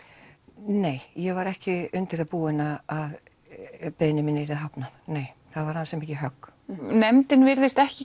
nei ég var ekki undir það búin að beiðni minni yrði hafnað það var ansi mikið högg nefndin virðist ekki